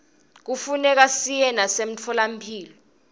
kufuneka siye nasemitfolamphilo